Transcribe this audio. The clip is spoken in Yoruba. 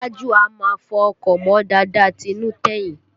Tájù a máa fọ ọkọ̀ mọ́ dáadáa tinú tẹ̀yìn